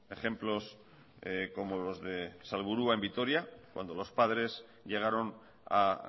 ejemplos como los de salburua en vitoria cuando los padres llegaron a